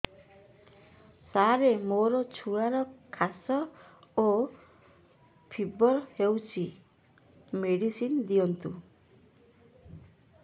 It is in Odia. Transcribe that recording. ସାର ମୋର ଛୁଆର ଖାସ ଓ ଫିବର ହଉଚି ମେଡିସିନ ଦିଅନ୍ତୁ